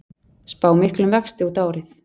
Spá miklum vexti út árið